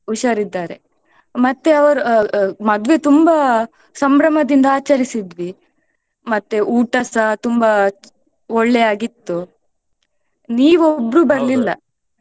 ಹುಷಾರಿದ್ದಾರೆ ಮತ್ತೆ ಅವ್ರ ಮದ್ವೆ ತುಂಬಾ ಸಂಭ್ರಮದಿಂದ ಆಚರಿಸಿದ್ವಿ ಮತ್ತೆ ಊಟಸ ತುಂಬಾ ಒಳ್ಳೆ ಆಗಿತ್ತು ನೀವ್ ಒಬ್ರು ಬರ್ಲಿಲ್ಲ.